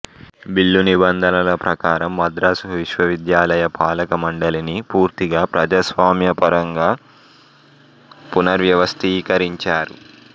bill నిబంధనల ప్రకారం మద్రాసు విశ్వవిద్యాలయ పాలకమండలిని పూర్తిగా ప్రజాస్వామ్య పరంగా పునర్వ్యవస్థీకరించారు